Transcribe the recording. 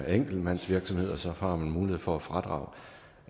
enkeltmandsvirksomhed så har man mulighed for fradrag